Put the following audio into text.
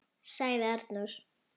., sagði Arnór.